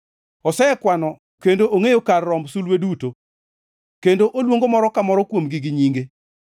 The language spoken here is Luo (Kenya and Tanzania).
Osekwano kendo ongʼeyo kar romb sulwe duto kendo oluongo moro ka moro kuomgi gi nyinge.